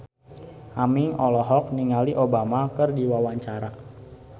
Aming olohok ningali Obama keur diwawancara